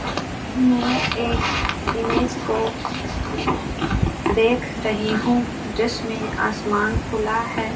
मैं एक इमेज को देख रही हूं जिसमें आसमान खुला है।